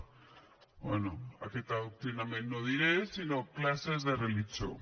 bé aquest adoctrinament no ho diré sinó classes de religió